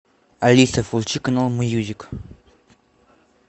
алиса включи канал мьюзик